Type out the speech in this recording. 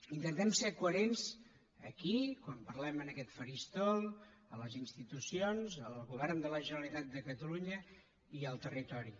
intentem ser coherents aquí quan parlem en aquest faristol a les institucions al govern de la generalitat de catalunya i al territori